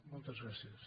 moltes gràcies